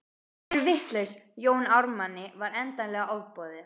Þið eruð vitlaus, Jóni Ármanni var endanlega ofboðið.